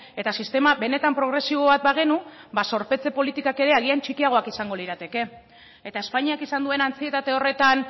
eta sistema benetan progresibo bat bagenu ba zorpetze politikak ere agian txikiagoak izango lirateke eta espainiak izan duen antsietate horretan